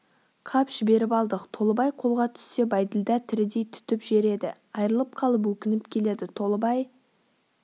қап жіберіп алдық толыбай қолға түссе бәйділда тірідей түтіп жер еді айрылып қалып өкініп келеді толыбай